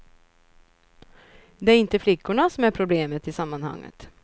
Det är inte flickorna som är problemet i sammanhanget.